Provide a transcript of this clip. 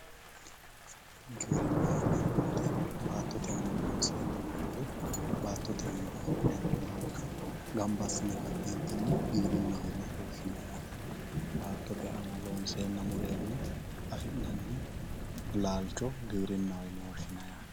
Giwirinnaho yineemmo woyte baattote aana loonseenna baattotewiinni afi'neemmo laalcho ganba assine ka'neentinni giwirinnaho yine woshahinay yaate baattote aana loonseenna mureenna afi'nanni laalcho giwirinnaho yinanni yaate